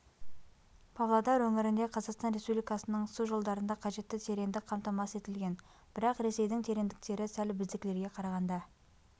павлодар өңірінде қазақстан республикасының су жолдарында қажетті тереңдік қамтамасыз етілген бірақ ресейдің тереңдіктері сәл біздікілерге қарағанда